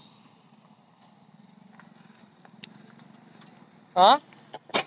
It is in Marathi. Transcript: अं